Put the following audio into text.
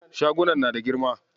Shagunan na da girma.